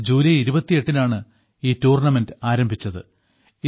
July 28 നാണ് ഈ tournament ആരംഭിച്ചത്